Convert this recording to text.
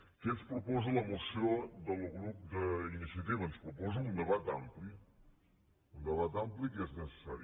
què ens proposa la moció del grup d’iniciativa ens proposa un debat ampli un debat ampli que és necessari